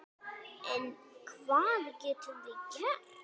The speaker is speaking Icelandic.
En hvað getum við gert?